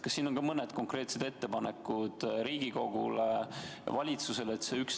Kas on ka mõned konkreetsed ettepanekud Riigikogule ja valitsusele?